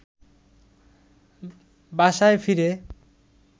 বাসায় ফিরে